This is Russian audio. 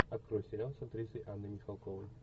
открой сериал с актрисой анной михалковой